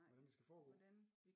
Hvordan det skal foregå